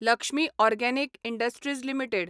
Lakshmi organic industries limited